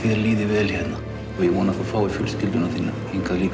líði vel hérna og ég vona að þú fáir fjölskylduna þína hingað líka